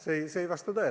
See ei vasta tõele.